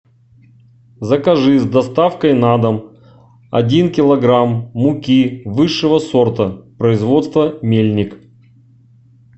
закажи с доставкой на дом один килограмм муки высшего сорта производства мельник